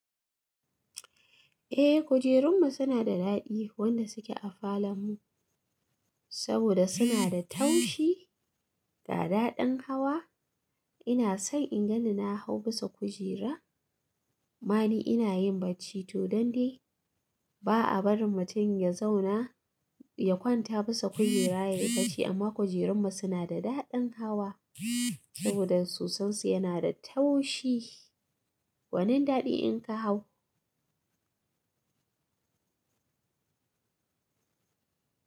Eh, kujerunmu suna da daɗi wanda suke a falonmu saboda suna da taushi da daɗaɗen hawa. Ina son in gani na hau bisa kujera. Mani ina yin bacci to dande. Ba a barin mutum ya zauna, ya kwanta bisa kujera ya yi bacci amma kujerunmu suna da daɗin hawa saboda sosonsu yana da taushi. Gwanin daɗi in ka hau?